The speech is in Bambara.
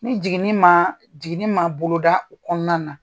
Ni jiginni ma , jiginni ma boloda kɔnɔna na